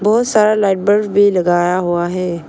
बहुत सारा light bulb भी लगाया हुआ है।